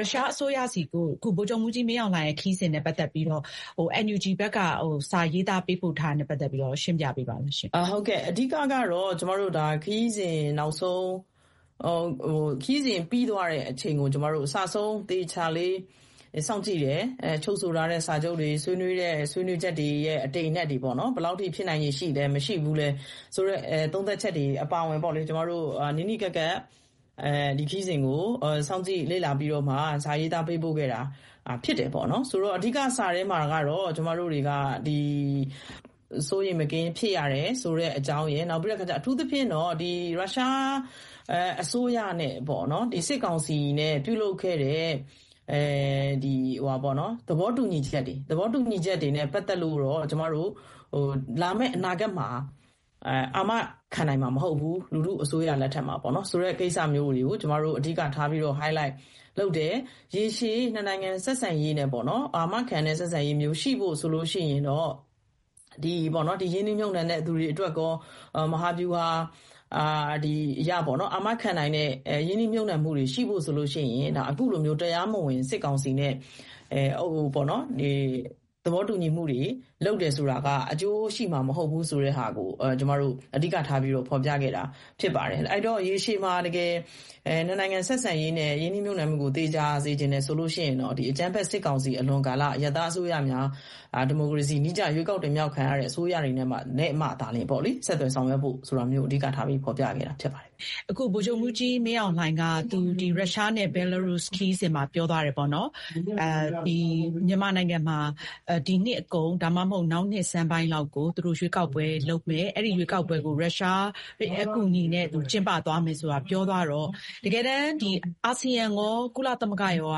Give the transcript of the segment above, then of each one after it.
ရုရှား အစိုးရဆီကို အခု ဗိုလ်ချုပ်မှူးကြီး မင်းအောင်လှိုင် ခရီးစဉ်နဲ့ ပတ်သက်ပြီးတော့ NUG ဘက်က စာရေးသား ပေးပို့ထားတာနဲ့ ပတ်သက်ပြီးတော့ ရှင်းပြပေးပါဦးရှင့်။ ဒေါ်ဇင်မာအောင်။ ။ အော် ဟုတ်ကဲ့။ အဓိက ကတော့ ဒါ ကျမတို့ ခရီးစဉ် နောက်ဆုံး ခရီးစဉ် ပြီးသွားတဲ့ အချိန်ကို ကျမတို့ အစ အဆုံး သေချာလေး စောင့်ကြည့်တယ်။ ချုပ်ဆိုထားတဲ့ စာချုပ်တွေ၊ ဆွေးနွေးတဲ့ ဆွေးနွေးချက်တွေရဲ့ အတိမ်အနက်တွေ ပေါ့နော် ဘယ်လောက်ထိ ဖြစ်နိုင်ခြေ ရှိလဲ၊ မရှိဘူးလဲ ဆိုတဲ့ သုံးသပ်ချက်တွေ အပါအဝင်ပေါ့လေ ကျမတို့ နီးနီးကပ်ကပ် ဒီခရီးစဉ်ကို စောင့်ကြည့်လေ့လာပြီးတော့မှ စာရေးသား ပေးပို့ခဲ့တာ ဖြစ်တယ်ပေါ့နော်။ ဆိုတော့ အဓိက စာထဲမှာကတော့ ကျမတို့တွေက ဒီ စိုးရိမ် မကင်း ဖြစ်ရတယ်ဆိုတဲ့ အကြောင်းရယ်၊ နောက်ပြီးတော့ အထူးသဖြင့်တော့ ဒီ ရုရှား အစိုးရနဲ့ စစ်ကောင်စီနဲ့ ပြုလုပ်ခဲ့တဲ့ ဒီ သဘောတူညီချက်တွေနဲ့ ပတ်သက်လို့တော့ လာမယ့် အနာဂတ်မှာ အာမခံနိုင်မှာ မဟုတ်ဘူး၊ လူထု အစိုးရ လက်ထက်မှာပေါ့နော် ဆိုတဲ့ ကိစ္စမျိုးတွေကို ကျမတို့ အဓိက ထားပြီးတော့ ဟိုက်လိုက် လုပ်တယ်။ ရေရှည် ၂ နိုင်ငံ ဆက်ဆံရေးနဲ့ ပေါ့နော် အာမခံတဲ့ ဆက်ဆံရေးမျိုး ရှိဖို့ ဆိုရင်တော့ ဒီပေါ့နော် ဒီ ရင်းနှီးမြှုပ်နှံတဲ့ သူတွေ အတွက်ကော ဒီ မဟာဗျူဟာ အရပေါ့နော် အာမခံနိုင်တဲ့ ရင်းနှီးမြှုပ်နှံမှုတွေ ရှိဖို့ ဆိုလို့ ရှိရင် အခုလိုမျိုး တရားမဝင် စစ်ကောင်စီနဲ့ သဘောတူညီမှုတွေ လုပ်တယ်ဆိုတာက အကျိုးရှိမှာ မဟုတ်ဘူးဆိုတဲ့ဟာကို ကျမတို့ အဓိက ထားပြီး ဖော်ပြခဲ့တာ ဖြစ်ပါတယ်။ အဲတော့ ရေရှည်မှာ ၂ နိုင်ငံ ဆက်ဆံရေးနဲ့ ရင်းနှီးမြှုပ်နှံမှုကို သေချာ စေချင်တယ် ဆိုလို့ ရှိရင်တော့ အကြမ်းဖက် စစ်ကောင်စီ အလွန်ကာလ အရပ်သား အစိုးရများ ဒီမိုကရေစီ နည်းကျ ရွေးကောက်တင်မြှောက်ခံရတဲ့ အစိုးရတွေနဲ့ မှသာလျင် ဆက်သွယ်ဆောင်ရွက်ဖို့ အဓိက ထားပြီး ဖော်ပြတာ ဖြစ်ပါတယ်။ အင်ကြင်းနိုင်။ ။ အခု ဗိုလ်ချုပ်မှူးကြီး မင်းအောင်လှိုင်က ရုရှားနဲ့ ဘဲလာရုစ် ခရီးစဉ်မှာ ပြောသွားတယ်ပေါ့နော် မြန်မာနိုင်ငံမှာ ဒီနှစ် အကုန် ဒါမှမဟုတ် နောက် နှစ်ဆန်းပိုင်းလောက်ကို သူတို့ ရွေးကောက်ပွဲ လုပ်မယ်၊ အဲဒီ ရွေးကောက်ပွဲကို ရုရှား အကူအညီနဲ့ သူ ကျင်းပသွားမယ် ဆိုတာ ပြောသွားတော့ တကယ်တန်း ဒီ အာဆီယံရော ကုလသမဂ္ဂ ရောက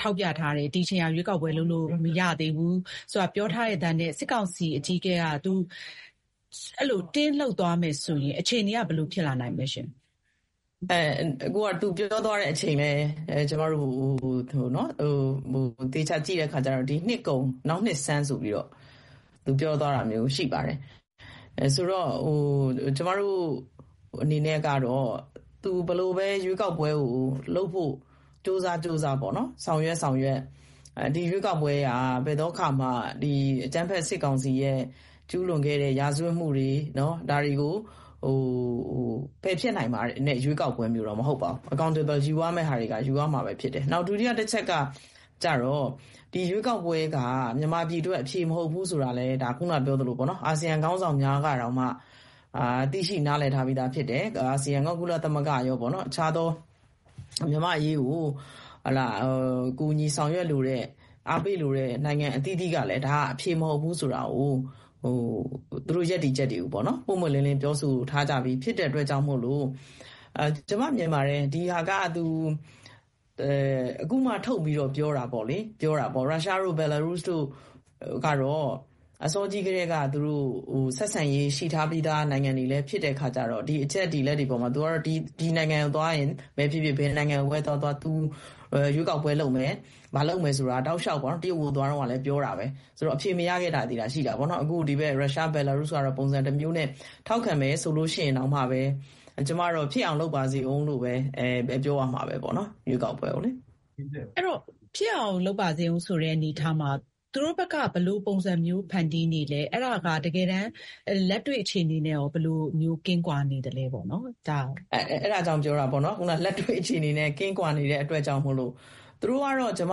ထောက်ပြထားတယ် ဒီအချိန်က ရွေးကောက်ပွဲ လုပ်လို့ မရဘူးဆိုတာ ပြောထားရဲ့သားနဲ့ စစ်ကောင်စီ အကြီးအကဲက အဲလို အတင်း လုပ်သွားမယ်ဆိုရင် အခြေအနေက ဘယ်လို ဖြစ်လာနိုင်မလဲရှင့်။ ဒေါ်ဇင်မာအောင်။ ။ အဲ သူပြောသွားတဲ့ အချိန်လည်း ကျမတို့ သေချာ ကြည့်တဲ့ အချိန်ကျတော့ ဒီနှစ်ကုန် နောက်နှစ်ဆန်း ဆိုပြီးတော့ သူပြောသွားတာမျိုး ရှိပါတယ်။ ဆိုတော့ ကျမတို့ အနေနဲ့ကတော့ သူ ဘယ်လိုပဲ ရွေးကောက်ပွဲကို လုပ်ဖို့ ကြိုးစား ကြိုးစား ပေါ့နော် ဆောင်ရွက် ဆောင်ရွက် ဒီ ရွေးကောက်ပွဲက ဘယ်သော အခါမှ အကြမ်းဖက် စစ်ကောင်စီရဲ့ ကျူးလွန်ခဲ့တဲ့ ရာဇဝတ်မှုတွေကို ပယ်ဖျက်နိုင်တဲ့ ရွေးကောက်ပွဲမျိုးတော့ မဟုတ်ပါဘူး။ accountable ယူရမယ့် ဟာတွေက ယူရမှာဘဲ ဖြစ်ပါတယ်။ နောက် ဒုတိယ တချက်က ကျတော့ ဒီ ရွေးကောက်ပွဲက မြန်မာပြည် အတွက် အဖြေ မဟုတ်ဘူးဆိုတာကတော့ ခုန ပြောသလိုဘဲ ပေါ့နော် အာဆီယံ ခေါင်းဆောင်များကတောင်မှ သိရှိ နားလည်ထားပြီးသား ဖြစ်တယ်။ အာဆီယံရော ကုလသမဂ္ဂ ရောပေါ့နော်။ တခြားသော မြန်မာ့ အရေးကို ကူညီဆောင်ရွက်လိုတဲ့ အားပေးလိုတဲ့ နိုင်ငံ အသီးသီးကလည်း ဒါ အဖြေ မဟုတ်ဘူးဆိုတာကို သူတို့ ရပ်တည်ချက်တွေကိုပေါ့နော် ပွင့်ပွင့်လင်းလင်း ပြောဆိုထားပြီး ဖြစ်တဲ့ အတွက်ကြောင့်မို့လို့ ကျမ မြင်ပါတယ် ဒီဟာက သူ အခုမှ ထုတ်ပြီးတော့ ပြောတာပေါ့လေ။ ရုရှားတို့ ဘဲလာရုစ်တို့ ကတော့ အစောကြီး ကတည်းက သူတို့ ဆက်ဆံရေး ရှိထားပြီးသား နိုင်ငံတွေလည်း ဖြစ်တဲ့ အခါကျတော့ ဒီ အချက်တွေ အလက်တွေ အပေါ်မှာ သူကတော့ ဒီနိုင်ငံကို သွားရင် ဖြစ်ဖြစ် ဘယ်နိုင်ငံကိုဘဲ သွားသွား သူ ရွေးကောက်ပွဲ လုပ်မယ်၊ ဘာလုပ်မယ်ဆိုတာ တောက်လျောက် ပေါ့နော် တရုတ်ကို သွားတုန်းကလည်း ပြေတာဘဲ။ ဆိုတော့ အဖြေ မရခဲ့တာသည်သာ ရှိတာပေါ့နော်။ အခု ဒီ ရုရှား၊ ဘဲလာရုစ် ဆိုတာတော့ ပုံစံ တမျိုးနဲ့ ထောက်ခံမယ် ဆိုလို့ ရှိရင် တောင်မှဘဲ ကျမတော့ ဖြစ်အောင် လုပ်ပါစေဦး လို့ဘဲ ပြောရမှာပေါ့နော်။ ရွေးကောက်ပွဲကိုလေ။ အင်ကြင်းနိုင်။ ။ အဲတော့ ဖြစ်အောင် လုပ်ပါစေဦး ဆိုတဲ့ အနေအထားမှာ သူတို့ဘက်က ဘယ်လို ပုံစံမျိုး ဖန်တီးနေလဲ၊ အဲဒါက လက်တွေ့ အခြေအနေနဲ့ရော ဘယ်လိုမျိုး ကင်းကွာနေသလဲပေါ့နော် ဒါ… ဒေါ်ဇင်မာအောင်။ ။ အဲဒါကြောင့် ပြောတာပေါ့နော်။ ဒါ လက်တွေ့ အခြေအနေနဲ့ ကင်းကွာနေတဲ့ အတွက်ကြောင့်မို့လို့ သူတို့ကတော့ ကျမ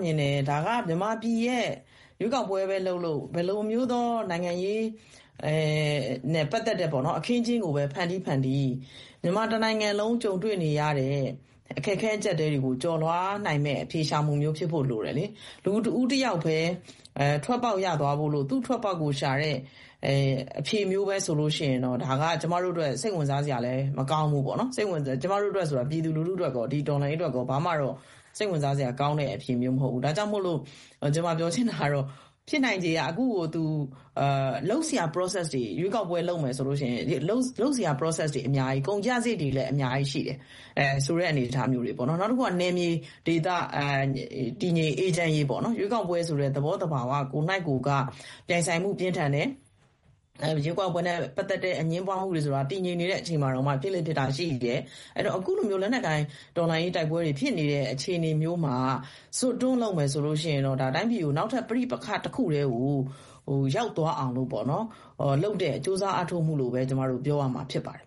မြင်တယ် ဒါက မြန်မာပြည်ရဲ့ ရွေးကောက်ပွဲပဲ လုပ်လုပ် ဘယ်လိုမျိုးသော နိုင်ငံရေးနဲ့ ပတ်သက်တဲ့ အခင်းအကျင်းကို ဖန်တီး ဖန်တီး မြန်မာ တနိုင်ငံလုံး ကြုံတွေ့နေရတဲ့ အခက်အခဲ အကြပ်အတည်းတွေကို ကျော်လွှားနိုင်မယ့် အဖြေရှာမှုမျိုး ဖြစ်ဖို့ လိုတယ်လေ။ လူ တဦး တယောက်ဘဲ ထွက်ပေါက် ရသွားဖို့လို့ သူ့ ထွက်ပေါက်ကို ရှာတဲ့ အဖြေမျိုးဘဲ ဆိုရင်တော့ ဒါက ကျမတို့ အတွက် စိတ်ဝင်စားစရာလည်း မကောင်းဘူးပေါ့နော်။ ကျမတို့ အတွက်ဆိုတာ ပြည်သူ လူထု အတွက်ပေါ့။ ဒီ တော်လှန်ရေး အတွက်တော့ ဘာမှတော့ စိတ်ဝင်စားစရာ ကောင်းတဲ့ အဖြေမျိုး မဟုတ်ဘူး။ ဒါကြောင့်မို့လို့ ကျမ ပြောချင်တာကတော့ ဖြစ်နိုင်ခြေ ကတော့ အခုလို သူ လုပ်စရာ Process တွေ ၊ ရွေးကောက်ပွဲ လုပ်မယ် ဆိုလို့ ရှိရင် လုပ်စရာ Process တွေ အများကြီး။ ကုန်ကျစာရိတ်တွေလည်း အများကြီး ရှိတယ်။ ဆိုတဲ့ အနေအထားမျိုးတွေပေါ့နေ။ နောက်တခုက နယ်မြေ ဒေသ တည်ငြိမ်အေးချမ်းရေးပေါ့။ ရွေးကောက်ပွဲ ဆိုတဲ့ သဘောသဘာ၀ ကိုယ်နှိုက်ကိုယ်က ပြိုင်ဆိုင်မှု ပြင်းထန်တယ်။ ရွေးကောက်ပွဲနဲ့ ပတ်သက်တဲ့ အငြင်းပွားမှုတွေ ဆိုတာ တည်ငြိမ်နေတဲ့ အချိန်မှာတောင်မှ ဖြစ်လေ့ ဖြစ်ထ ရှိတယ်။ အဲတော့ အခုလို လက်နက်ကိုင် တော်လှန်ရေး တိုက်ပွဲတွေ ဖြစ်နေတဲ့ အခြေအနေမျိုးမှာ ဇွတ်တွန်းလုပ်မယ် ဆိုရင်တော့ ဒါ တိုင်းပြည်ကို နောက်ထပ် ပဋိပက္ခ တခုတည်းကို ရောက်သွားအောင် လုပ်တဲ့ ကြိုးစားအားထုတ်မှုလို့ဘဲ ကျမတို့ ပြောရမှာ ဖြစ်ပါတယ်။